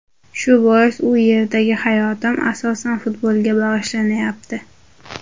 Shu bois u yerdagi hayotim, asosan, futbolga bag‘ishlanyapti.